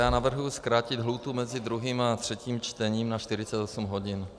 Já navrhuji zkrátit lhůtu mezi druhým a třetím čtením na 48 hodin.